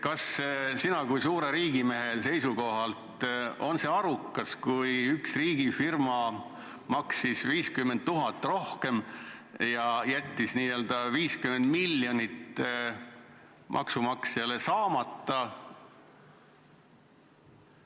Kas sinu kui suure riigimehe seisukohalt on see arukas otsus, kui valiti üks riigifirma, kes maksis 50 000 eurot rohkem, ja sellega jäi 50 miljonit maksumaksjale saamata?